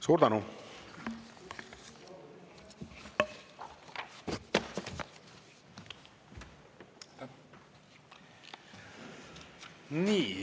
Suur tänu!